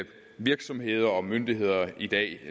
virksomheder og myndigheder i dag